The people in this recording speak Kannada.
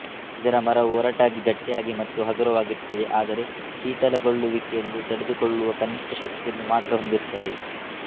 ಇದರ ಮರ ವು ಒರಟಾಗಿ ಗಟ್ಟಿಯಾಗಿ ಮತ್ತು ಹಗುರವಾಗಿರುತ್ತದೆ ಆದರೆ ಶಿಥಲಗೊಳ್ಳುವಿಕೆಯನ್ನು ತಡೆದು ಕೊಳ್ಳುವ ಕನಿಷ್ಠ ಶಕ್ತಿಯನ್ನು ಮಾತ್ರ ಹೊಂದಿರುತ್ತದೆ